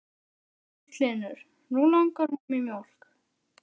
Magnús Hlynur: Nú langar honum í mjólk?